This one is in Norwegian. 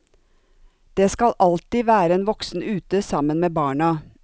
Det skal alltid være en voksen ute sammen med barna.